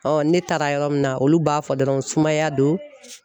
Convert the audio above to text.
ne taara yɔrɔ min na olu b'a fɔ dɔrɔn sumaya don